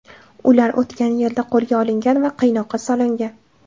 Ular o‘tgan yilda qo‘lga olingan va qiynoqqa solingan.